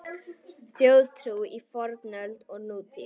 Þjóðtrú í fornöld og nútíð